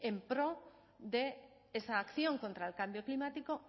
en pro de esa acción contra el cambio climático